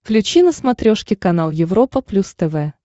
включи на смотрешке канал европа плюс тв